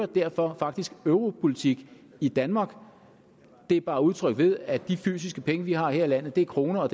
derfor europolitik i danmark det er bare udtrykt ved at de fysiske penge vi har her i landet er kroner og